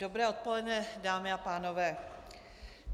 Dobré odpoledne, dámy a pánové.